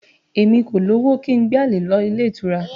Èmi kò lówó kí n gbé àlè lọ ilé ìtura